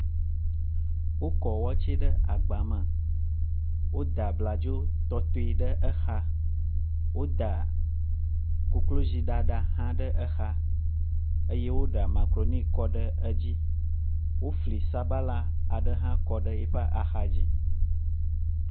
Wokɔ watsɛ ɖe agba me. Woda bladzo tɔtɔe ɖe exa. Woda koklozi ɖaɖa hã ɖe exa eye woɖa makaɖoni kɔ ɖe edzi. Wofli sabala aɖe hã kɔ ɖe yiƒe axa dzi.